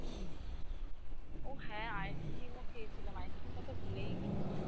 ও হ্যাঁ ice cream ও খেয়েছিলাম ice cream টা তো ভুলেই গেছি